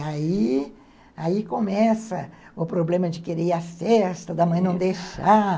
Ai, aí começa o problema de querer ir à festa, da mãe não deixar